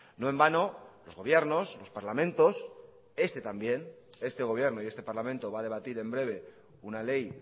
no en vano los gobiernos los parlamentos este también este gobierno y este parlamento va a debatir en breve una ley